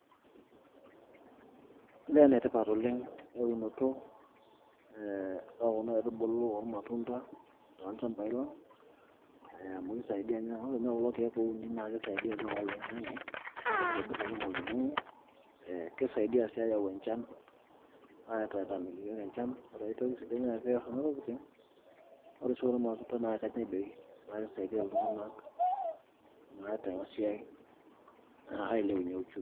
Olee enetipat oleng' eunoto oonkuna aitubulu ormatunda tolchambai lang' ee amu kisaidia ore ninye kulo keek ouninaa kisaidia too mbaa oling'ang'e itobirr oloing'ang'e ee kisaidia sii aayau enchan aitataaniki iyiook enchan ore ai toki sidai naas kuna tokitin ore ake sii irmatunda naa kenyai tooi neeku kisaidia iltung'anak naa tena siai ailepunyie uchumi.